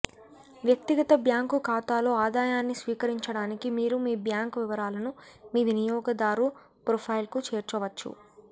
వ్యక్తిగత బ్యాంకు ఖాతాలో ఆదాయాన్ని స్వీకరించడానికి మీరు మీ బ్యాంక్ వివరాలను మీ వినియోగదారు ప్రొఫైల్కు చేర్చవచ్చు